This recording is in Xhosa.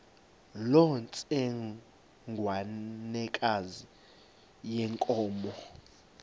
loo ntsengwanekazi yenkomo